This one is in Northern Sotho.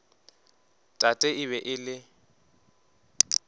tate e be e le